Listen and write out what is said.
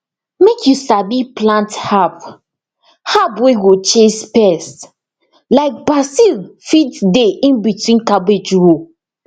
make you sabi plant herb herb wey go chase pest like basil fit dey in between cabbage row